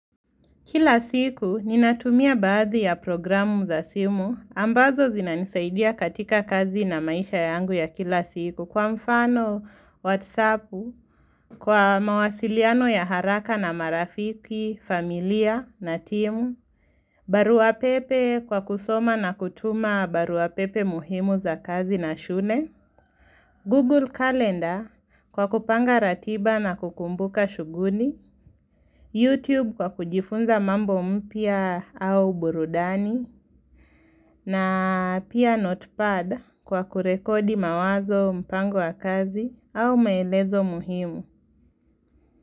Kila siku ninatumia baadhi ya programu za simu ambazo zinanisaidia katika kazi na maisha yangu ya kila siku kwa mfano, whatsappu, kwa mawasiliano ya haraka na marafiki, familia na timu, baruapepe kwa kusoma na kutuma baruapepe muhimu za kazi na shune, Google Calendar kwa kupanga ratiba na kukumbuka shuguli, YouTube kwa kujifunza mambo mpia au burudani, na pia notepad kwa kurekodi mawazo mpango wa kazi au maelezo muhimu.